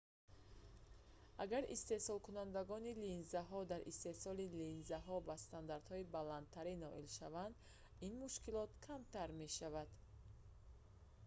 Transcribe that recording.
агар истеҳсолкунандагони линзаҳо дар истеҳсоли линзаҳо ба стандартҳои баландтар ноил шаванд ин мушкилот камтар мешавад